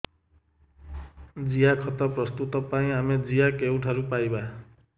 ଜିଆଖତ ପ୍ରସ୍ତୁତ ପାଇଁ ଆମେ ଜିଆ କେଉଁଠାରୁ ପାଈବା